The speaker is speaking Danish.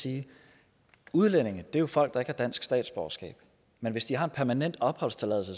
sige udlændinge er jo folk der har dansk statsborgerskab men hvis de har en permanent opholdstilladelse